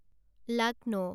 Lucknow